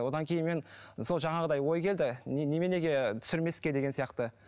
одан кейін мен сол жаңағыдай ой келді неменеге түсірмеске деген сияқты